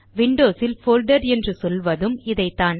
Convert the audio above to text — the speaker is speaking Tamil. விண்டோஸில் போல்டர் என்று சொல்வதும் இதைத்தான்